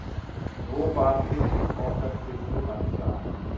Svo bar fundum okkar sýslumanns saman.